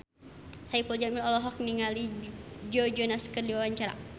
Saipul Jamil olohok ningali Joe Jonas keur diwawancara